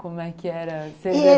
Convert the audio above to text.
Como é que era?